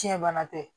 Tiɲɛ bana tɛ